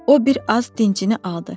O bir az dincini aldı.